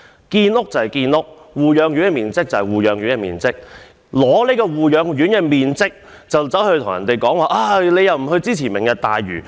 建屋是建屋，護養院的面積便是護養院的面積，以護養院的面積來問別人：為甚麼你不支持"明日大嶼願景"？